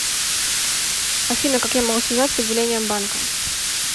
афина как я могу связаться с отделением банка